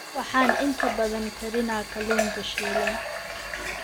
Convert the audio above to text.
Waxaan inta badan karinaa kalluunka shiilan.